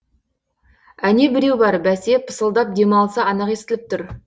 әне біреу бар бәсе пысылдап демалса анық естіліп тұр